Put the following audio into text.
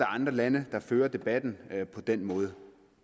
andre lande der fører debatten på den måde